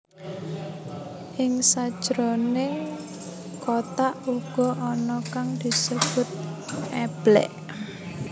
Ing sajroning kothak uga ana kang disebut eblek